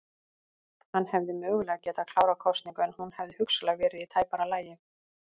Hann hefði mögulega getað klárað kosningu en hún hefði hugsanlega verið í tæpara lagi.